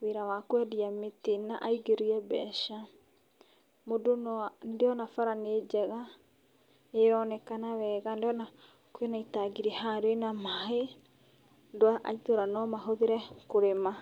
wĩra wa kwendia mĩtĩ na aingĩrie mbeca. Nĩ ndĩrona bara nĩ njega, nĩ ĩronekana wega, ndĩrona kwĩna itangi haha rĩna maaĩ, andũ a itũũra no mahũthĩre kũrĩma.